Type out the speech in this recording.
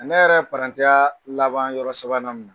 Ne yɛrɛ ye laban yɔrɔ sabanan min na